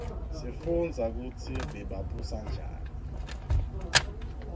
sifundza kutsi bebabusa njani